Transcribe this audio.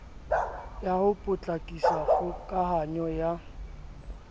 ya ho potlakisa kgokahanyo ya